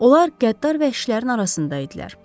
Onlar qəddar vəhşilərin arasında idilər.